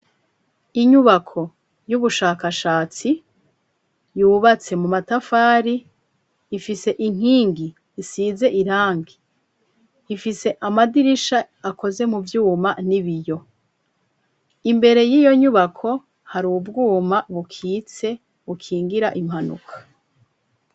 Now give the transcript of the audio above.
Inyubako y'ubushakashatsi yubatse mu matafari ifise inkingi isize irangi .Ifise amadirisha akoze mu vyuma n'ibiyo imbere y'iyo nyubako hari ubwuma bukitse bukingira impanuka.